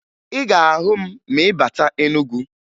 Ị ga-ahụ m ma ị bata Enugu